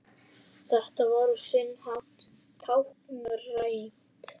Þetta var á sinn hátt táknrænt